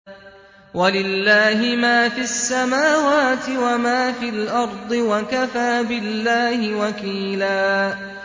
وَلِلَّهِ مَا فِي السَّمَاوَاتِ وَمَا فِي الْأَرْضِ ۚ وَكَفَىٰ بِاللَّهِ وَكِيلًا